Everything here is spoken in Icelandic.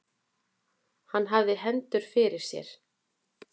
Hann hafði hendurnar fyrir sér.